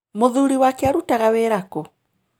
Mũthuuri wake arutaga wĩra kũ?